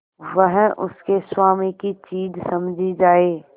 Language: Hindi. वह उसके स्वामी की चीज समझी जाए